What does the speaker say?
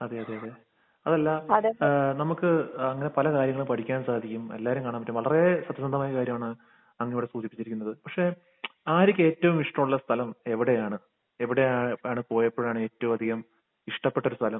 അതെ. അതെ. അതെ. അതല്ലാ ഏഹ് നമുക്ക് അങ്ങനെ പല കാര്യങ്ങളും പഠിക്കാൻ സാധിക്കും. എല്ലാവരെയും കാണാൻ പറ്റും. വളരേ സത്യസന്ധമായ കാര്യമാണ് അങ്ങ് ഇവിടെ സൂചിപ്പിച്ചിരിക്കുന്നത്. പക്ഷെ ആര്യയ്ക്ക് ഏറ്റവും ഇഷ്ടമുള്ള സ്ഥലം എവിടെയാണ്? എവിടെയാണ് പോയപ്പോഴാണ് ഏറ്റവുമധികം ഇഷ്ടപ്പെട്ടൊരു സ്ഥലം?